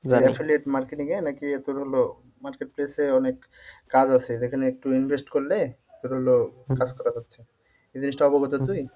affiliate marketing এ নাকি তোর হল market place এ অনেক কাজ আছে যেখানে একটু invest করলে তোর হলো করা যাচ্ছে। জিনিসটা অবগত তুই?